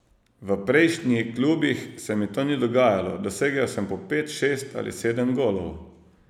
V prejšnji klubih se mi to ni dogajalo, dosegel sem po pet, šest ali sedem golov.